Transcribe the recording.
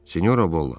Sinyora Bola!